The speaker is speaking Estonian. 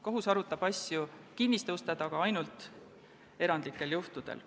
Kohus arutab asju kinniste uste taga ainult erandlikel juhtudel.